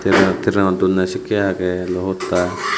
ibenot trainot donne sakkey agey lo hotta.